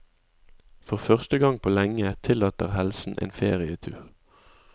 For første gang på lenge tillater helsen en ferietur.